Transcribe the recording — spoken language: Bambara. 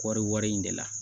Kɔɔri wari in de la